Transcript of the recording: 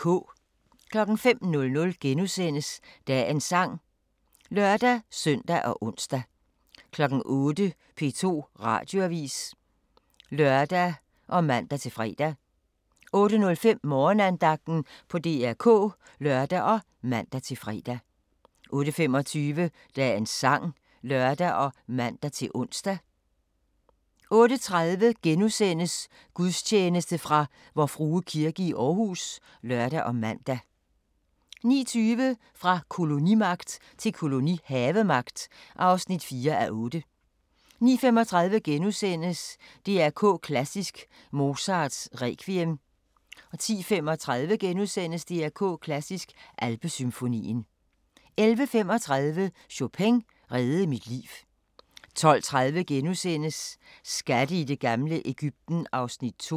05:00: Dagens sang *(lør-søn og ons) 08:00: P2 Radioavis (lør og man-fre) 08:05: Morgenandagten på DR K (lør og man-fre) 08:25: Dagens sang (lør og man-ons) 08:30: Gudstjeneste fra Vor Frue Kirke, Aarhus *(lør og man) 09:20: Fra kolonimagt til kolonihavemagt (4:8) 09:35: DR K Klassisk: Mozarts Requiem * 10:35: DR K Klassisk: Alpesymfonien * 11:35: Chopin reddede mit liv 12:30: Skatte i det gamle Egypten (Afs. 2)*